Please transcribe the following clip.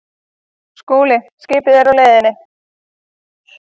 SKÚLI: Skipið er á leiðinni.